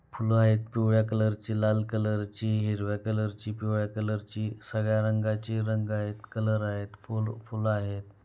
फुलं आहेत. पिवळ्या कलरची लाल कलरची हिरव्या कलरची पिवळ्या कलरची सगळ्या रंगाची रंग आहेत. कलर आहेत. फूल फुल आहेत.